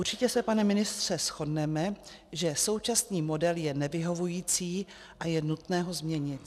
Určitě se, pane ministře, shodneme, že současný model je nevyhovující a je nutné ho změnit.